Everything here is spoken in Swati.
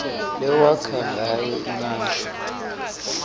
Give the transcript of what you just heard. lewakha ngayo imisho